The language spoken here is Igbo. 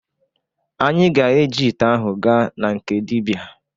Anyị ga-eji ite ahụ gaa na nke dịbịa.